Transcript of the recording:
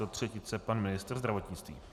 Do třetice pan ministr zdravotnictví.